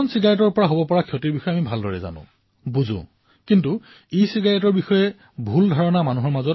সাধাৰণ চিগাৰেটৰ ক্ষয়ক্ষতিৰ বিষয়ে আমি জানো কিন্তু ইচিগাৰেটৰ বিষয়ে এক ভুল ধাৰণাৰ সৃষ্টি কৰা হৈছে